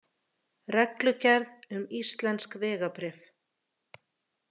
Reglugerð um íslensk vegabréf.